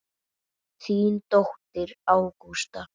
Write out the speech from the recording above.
Þín dóttir, Ágústa.